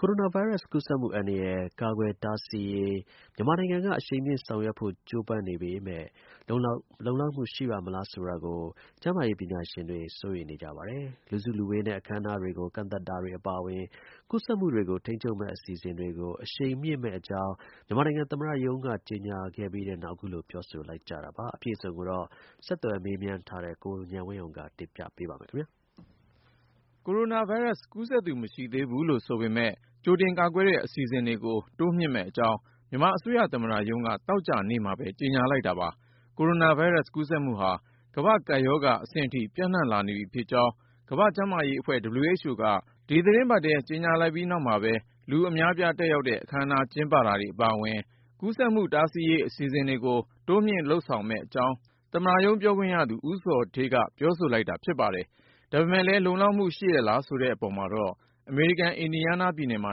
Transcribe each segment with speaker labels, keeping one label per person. Speaker 1: ကိုရိုနာဗိုင်းရပ်စ် ကူးစက်မှုအန္တရာယ် ကာကွယ်တားဆီးရေး မြန်မာနိုင်ငံက အရှိန်မြှင့်ဆောင်ရွက်ဖို့ ကြိုးပမ်းနေပေမဲ့ လုံလောက်မှု ရှိပါ့မလားဆိုတာကို ကျန်းမာရေး ပညာရှင်တွေ စိုးရိမ်နေကြပါတယ်။ လူစုလူဝေးနဲ့ အခမ်းအနားတွေကို ကန့်သတ်တာတွေ အပါအဝင် ကူးစက်မှုတွေကို ထိန်းချုပ်မယ့် အစီအစဉ်တွေကို အရှိန်မြှင့်မယ့်အကြောင်း မြန်မာသမ္မတရုံးက ကြေညာခဲ့ပြီးနောက် အခုလို ပြောဆိုလိုက်ကြတာပါ။ အပြည့်အစုံကိုတော့ ဆက်သွယ် မေးမြန်းထားတဲ့ ကိုဉာဏ်ဝင်းအောင်က တင်ပြပါမယ်။
Speaker 2: ကိုရိုနာဗိုင်းရပ်စ် ကူးစက်မှုဟာ ကမ္ဘာ့ကပ်ရောဂါအဆင့်အထိ ပျံ့နှံ့လာနေပြီဖြစ်ကြောင်း ကမ္ဘာ့ကျန်းမာရေးအဖွဲ့ က ဒီသီတင်းပတ်ထဲ ကြေညာပြီးနောက်မှာပဲ လူအများအပြား တက်ရောက်တဲ့ အခမ်းအနား ကျင်းပတာတွေ အပါအဝင် ကူးစက်မှုတားဆီးရေး အစီအစဉ်တွေကို တိုးမြှင့်ဆောင်ရွက်မယ့်အကြောင်း သမ္မတရုံးပြောခွင့်ရသူ ဦးဇော်ဌေးက ပြောဆိုလိုက်တာ ဖြစ်ပါတယ်။ ဒါပေမဲ့လည်း လုံလောက်မှု ရှိရဲ့လား ဆိုတဲ့အပေါ်မှာတော့ အမေရိကန် အင်ဒီယားနားပြည်နယ်မှာ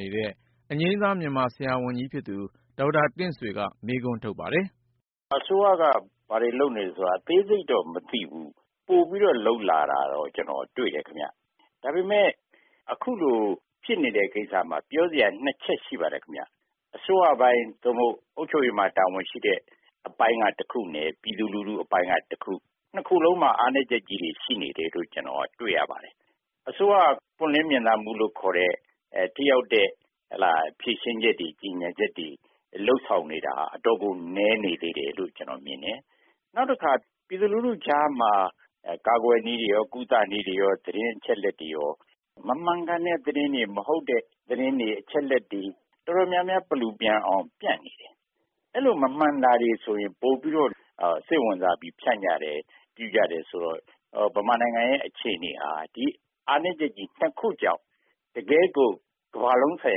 Speaker 2: နေတဲ့ အငြိမ်းစား မြန်မာ ဆရာဝန်ကြီးဖြစ်သူ ဒေါက်တာ တင့်ဆွေ ကမေးခွန်းထုတ်
Speaker 1: ပါတယ်။ “အစိုးရက ဘာတွေလုပ်နေသလဲဆိုတာကတော့ အသေးစိတ်တော့ မသိဘူး။ ပိုပြီးတော့ လုပ်လာတာကတော့ ကျနော်တွေ့တယ်ခင်ဗျ။ ဒါပေမယ့် အခုလို ဖြစ်နေတဲ့ ကိစ္စမှာ ပြောစရာ ၂ ချက်ရှိပါတယ်။ အစိုးရပိုင်း သို့မဟုတ် အုပ်ချုပ်ရေးပိုင်းမှာ တာဝန်ရှိတဲ့ အပိုင်းက တခုနဲ့ ပြည်သူလူထုအပိုင်းက တခု ။ ၂ ခုစလုံးမှာ အားနည်းချက်တွေ ရှိနေတယ်လို့ ကျနော် တွေ့ရတယ်။ အစိုးရက ပွင့်လင်းမြင်သာမှုလို့ ခေါ်တဲ့ ထိရောက်တဲ့ဖြေရှင်းချက်တွေ ကြေညာချက်တွေ လုပ်ဆောင်နေတာက အတော်ကို နည်းနေသေးတယ် လို့ ကျနော်မြင်တယ်။ နောက်တခါ ပြည်သူလူထုကြားမှာ ကာကွယ်နည်း ၊ ကုသနည်း သတင်းအချက်အလက်တွေရော မမှန်ကန်တဲ့သတင်းတွေ၊ မဟုတ်တဲ့သတင်းတွေ အချက်အလက်တွေ တော်တေ်ာများများ ပလူပျံအောင် ဖြန့်နေတယ်။ အဲလို မမှန်တာတွေဆိုရင် ပိုပြီးတော့ စိတ်ဝင်စားပြီး ဖြန့်ကြတယ်ဆိုတော့ မြန်မာနိုင်ငံရဲ့ အခြေအနေဟာ ဒီအားနည်းချက် ၂ ခုကြောင့် တကယ့်ကို ကမ္ဘာလုံးဆိုင်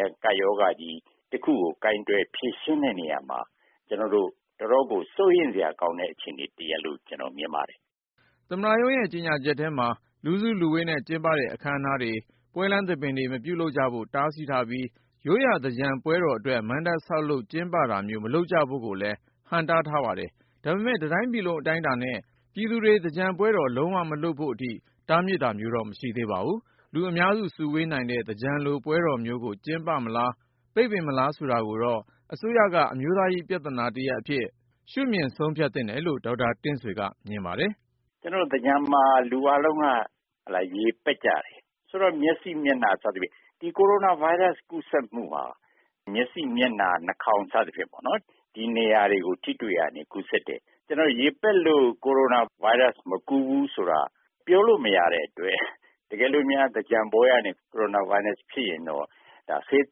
Speaker 1: ရာ ကပ်ရောဂါတခုကို ကိုင်တွယ် ဖြေရှင်းတဲ့နေရာမှာ တော်တော်ကို စိုးရိမ်စရာကောင်းတဲ့ အခြေအနေတရပ်လို့ မြင်ပါတယ်
Speaker 2: ။” သမ္မတရုံးရဲ့ ကြေညာချက်ထဲမှာ လူစုလူဝေးနဲ့ကျင်းပတဲ့ အခမ်းအနားတွေ၊ ပွဲလမ်းသဘင်တွေ မပြုလုပ်ကြဖို့ တားမြစ်ထားပြီး၊ ရိုးရာသင်္ကြန်ပွဲတော်အတွက် မဏ္ဍပ်ဆောက်လုပ် ကျင်းပတာမျိုး မလုပ်ကြဖို့ကိုလည်း ဟန့်တားထားပါတယ်။ ဒါပေမဲ့ တတိုင်းပြည်လုံးအတိုင်းအတာနဲ့ ပြည်သူတွေ သင်္ကြန်ပွဲတော် လုံးဝ မလုပ်ဖို့အထိ တားမြစ်တာမျိုးတော့ မရှိသေးပါဘူး။ လူအများစုဝေးနိုင်တဲ့ သင်္ကြန်လိုပွဲတော်မျိုးကို ကျင်းပမလား ပိတ်ပင်မလားဆိုတာကိုတော့ အစိုးရက အမျိုးသားရေး ပြဿနာတရပ်အဖြစ် ရှုမြင် ဆုံးဖြတ်သင့်တယ်လို့ ဒေါက်တာ တင့်ဆွေကမြင်ပါတယ်။
Speaker 1: “ ကျနော်တို့ သင်္ကြန်မှာ လူအားလုံးက ရေပက်ကြတယ်။ ဆိုတော့ မျက်စိ ၊ မျက်နှာ စသဖြင့် ကိုရိုနာဗိုင်းရပ်စ် ကူးစက်မှုဟာ မျက်စိ ၊ မျက်နှာ၊ နှာခေါင်း စသဖြင့်ပေါ့နော် ဒီနေရာတွေကို ထိတွေ့တာကနေ ကူးစက်တယ်။ ကျနေ်ာတို့ ရေပက်လို့ ကိုရိုနာဗိုင်းရပ်စ် မကူးဘူးဆိုတာက ပြောလို့မရတဲ့အတွက် တကယ်လို့များ သင်္ကြန်ပွဲကနေ ကိုရိုနာဗိုင်းရပ်စ် ဖြစ်ရင်တော့ ဒါက ဆေး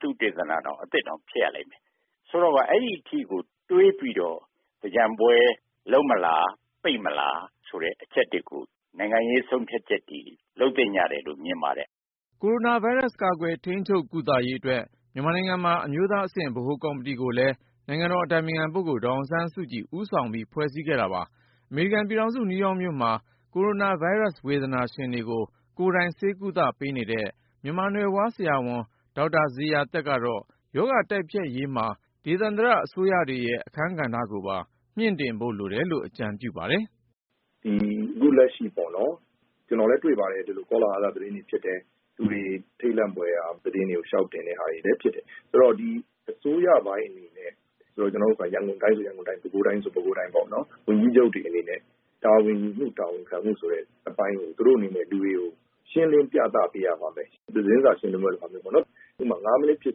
Speaker 1: သုတေသနတောင် အသစ်ဖြစ်ရလိမ့်မယ်။ ဆိုတော့ အဲဒီအထိကို တွေးပြီးတော့ သင်္ကြန်ပွဲလုပ်မလား ၊ ပိတ်မလား ဆိုတဲ့ အချက်တွေကို နိုင်ငံရေး ဆုံးဖြတ်ချက်တွေ လုပ်သင့်တယ်လို့ မြင်ပါတယ်။
Speaker 2: ” ကိုရိုနာဗိုင်းရပ်စ် ကာကွယ်၊ ထိန်းချုပ်၊ ကုသရေးအတွက် မြန်မာနိုင်ငံမှာ အမျိုးသားအဆင့် ဗဟိုကော်မတီကိုလည်း နိုင်ငံတော် အတိုင်ပင်ခံပုဂ္ဂိုလ်ဒေါ်အောင်ဆန်းစုကြည် ဦးဆောင်ပြီး ဖွဲ့စည်းခဲ့တာပါ။ အမေရိကန်ပြည်ထောင်စု နယူးယောက်မြို့မှာ ကိုရိုနာဗိုင်းရပ်စ် ဝေဒနာရှင်တွေကို ကိုယ်တိုင်ဆေးကုသပေးနေတဲ့ မြန်မာနွယ်ဖွား ဆရာဝန် ဒေါက်တာ ဇေယျာသက်ကတော့ ရောဂါတိုက်ဖျက်ရေးမှာ ဒေသန္တရအစိုးရတွေရဲ့ အခမ်းကဏ္ဍကိုပါ မြှင့်တင်ဖို့လိုတယ်လို့ အကြံပြုပါတယ်။
Speaker 3: “အခုလက်ရှိ ကျနော်လည်း တွေ့ပါတယ် ကောလဟာလ သတင်းတွေ ဖြစ်တယ်။ လူတွေ ထိတ်လန့်ဖွယ်ရာ သတင်းတွေကို လျှောက်တင်တာတွေလည်း ဖြစ်တယ်။ ဆိုတော့ အစိုးရပိုင်းအနေနဲ့ ရန်ကုန်တိုင်းဆိုရင် ရန်ကုန်တိုင်း၊ ပဲခူးတိုင်းဆိုရင် ပဲခူးတိုင်း ဝန်ကြီးချုပ်တွေအနေနဲ့ တာဝန်ခံမှု တာဝန်ယူမှု အပိုင်းတွေ သူတို့အနေနဲ့ လူတွေကို ရှင်းလင်းပြသပေးရမယ်။ သတင်းစာရှင်းလင်းပွဲလုပ်တာမျိုးပေါ့နော် ဥပမာ ၅ မိနှစ်ဖြစ်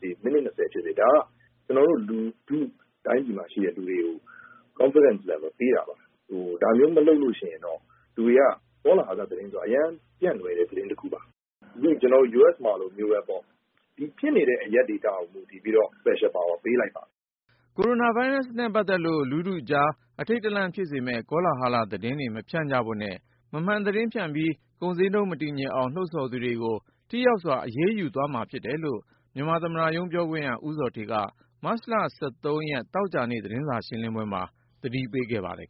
Speaker 3: စေ၊ ၁၀ မိနှစ်ဖြစ်စေ ဒါက ကျနော်တို့ တိုင်းပြည်မှာရှိတဲ့ လူတွေကို Confidence level ပေးတာပါ။ ဒါမျိုးမလုပ်ရင်တော့ ကောလဟာလဆိုတာက အရမ်းပြန့်လွယ်တဲ့ သတင်းတခုပါ ။ ဒီနေ့ ကျနော်တို့ US မှာလိုပေါ့ ဖြစ်နေတဲ့ အရပ်ဒေသကို မူတည်ပြီးတော့ special power ပေးလိုက်ပါတယ်။
Speaker 2: ” ကိုရိုနာဗိုင်းရပ်စ်နဲ့ပတ်သက်လို့ လူထုကြား အထိန့်တလန့်ဖြစ်စေမယ့် ကောလာဟလသတင်းတွေ မဖြန့်ကြဖို့နဲ့ မမှန်သတင်းဖြန့်ပြီး ကုန်ဈေးနှုန်း မတည်ငြိမ်အောင် လှုံ့ဆော်သူတွေကို ထိရောက်စွာ အရေးယူသွားမှာဖြစ်တယ်လို့ မြန်မာသမ္မတရုံး ပြောခွင့်ရ ဦးဇော်ဌေးက မတ်လ သောကြာနေ့ သတင်းစာရှင်းလင်းပွဲမှာ သတိပေးထားပါတယ်